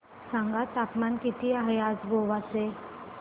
सांगा तापमान किती आहे आज गोवा चे